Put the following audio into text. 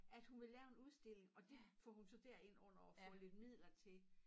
At hun vil lave en udstilling og det får hun så derind under og få lidt midler til